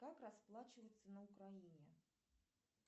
как расплачиваться на украине